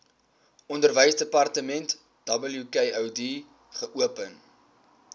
onderwysdepartement wkod geopen